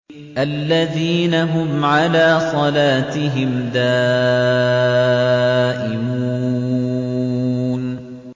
الَّذِينَ هُمْ عَلَىٰ صَلَاتِهِمْ دَائِمُونَ